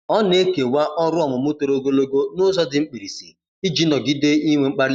Ọ na-ekewa ọrụ ọmụmụ toro ogologo n'ụzọ dị mkpirisi iji nọgide n'inwe mkpali.